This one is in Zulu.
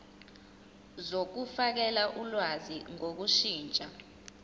zokufakela ulwazi ngokushintsha